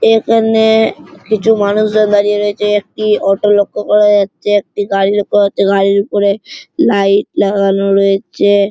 এখানে-এ কিছু মানুষজন দাঁড়িয়ে রয়েছে। একটি অটো লক্ষ্য করা যাচ্ছে একটি গাড়ি দেখা যাচ্ছে। গাড়ির উপরে লাইট লাগানো রয়েছে।